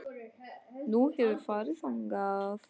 Nú, hefurðu farið þangað?